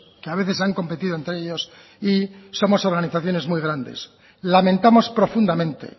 que a veces han competido entre ellos y somos organizaciones muy grandes lamentamos profundamente